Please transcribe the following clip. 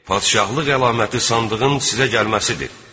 Padşahlıq əlaməti sandığın sizə gəlməsidir.